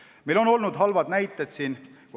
Meil on olnud halbu näiteid.